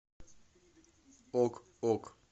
ок ок